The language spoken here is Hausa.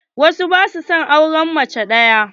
Wasu ba sua son auren mace ɗaya.